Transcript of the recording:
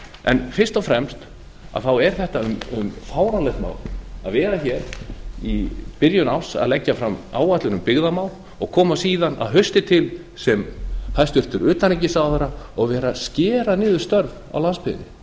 en fyrst og fremst er þarna um fáránlegt mál að vera hér í byrjun árs að leggja fram áætlun um byggðamál og koma síðan að hausti til sem hæstvirtur utanríkisráðherra og vera að skera niður störf á landsbyggðinni